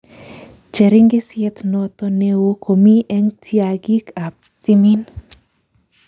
Cheringisyet noto neoo ko komii eng' tyang'iik ab timiin